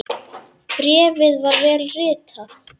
Bréfið var vel ritað.